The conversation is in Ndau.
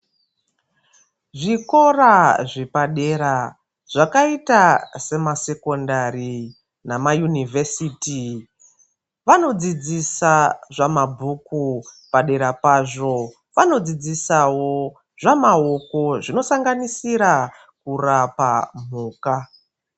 Zvikora zvepadera, zvakaita semasekondari namayunivhesiti vanodzidzisa zvamabhuku padera pazvo, vanodzidzisawo zvamaoko zvinosanganisira kurapa mhuka.